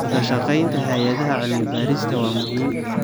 Wadashaqeynta hay'adaha cilmi-baarista waa muhiim.